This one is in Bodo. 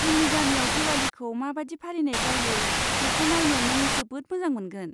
जोंनि गामियाव दिवालीखौ मा बादि फालिनाय जायो बेखौ नायनो नों जोबोद मोजां मोनगोन।